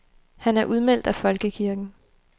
Han er udmeldt af folkekirken.